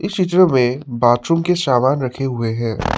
चीज़ों में बाथरूम के सामान रखे हुए हैं।